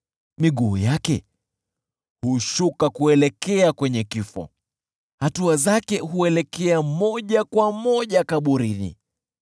Miguu yake hushuka kuelekea kwenye kifo; hatua zake huelekea moja kwa moja kaburini.